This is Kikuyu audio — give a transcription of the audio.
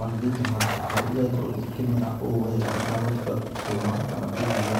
magĩgĩita handũ ta hau, igagĩkorwo igĩkĩmera ũũ wega, itagũgĩtinda ikĩũmaga kana kũgio.